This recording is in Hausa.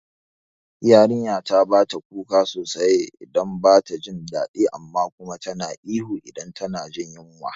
Yarinyata bata kuka sosai idan bata jin dadi amma kuma tana ihu idan tana jin yunwa